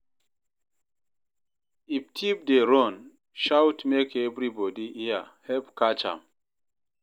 If thief dey run, shout make everybodi hear, help catch am.